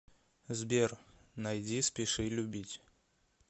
сбер найди спеши любить